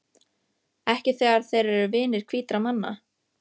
Ekki þegar þeir eru vinir hvítra manna.